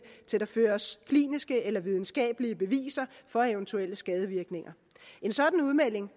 til der føres kliniske eller videnskabelige beviser for eventuelle skadevirkninger en sådan udmelding